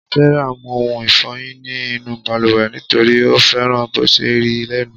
Sarah mu oun ìfoyin ní inú baluwe nitori o fẹràn bò se rí lẹnu